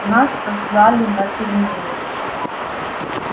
нас сослали на терминус